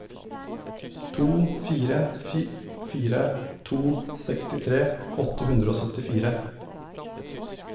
to fire fire to sekstitre åtte hundre og syttifire